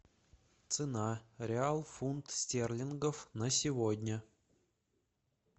цена реал фунт стерлингов на сегодня